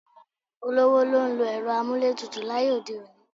Olówó ló ń lo ẹ̀rọ amúlétutù láyé òde òní.